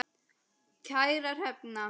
Kæra Hrefna,